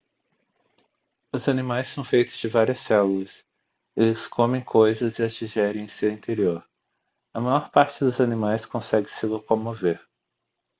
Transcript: os animais são feitos de várias células eles comem coisas e as digerem em seu interior a maior parte dos animais consegue se locomover